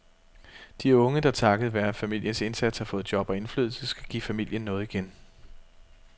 De unge, der takket være familiens indsats har fået job og indflydelse, skal give familien noget igen.